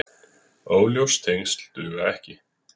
Óljós tengsl duga ekki.